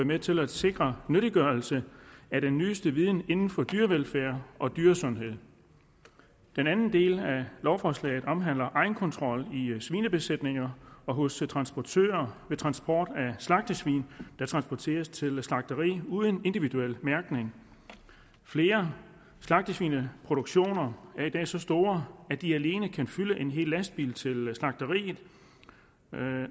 med til at sikre nyttiggørelse af den nyeste viden inden for dyrevelfærd og dyresundhed den anden del af lovforslaget omhandler egenkontrol i svinebesætninger og hos transportører ved transport af slagtesvin der transporteres til slagteri uden individuel mærkning flere slagtesvineproduktioner er i dag så store at de alene kan fylde en hel lastbil til slagteriet